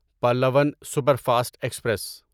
Pallavan superfast express